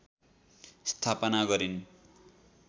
स्थापना गरिन्